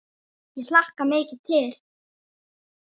Ég hlakka mikið til.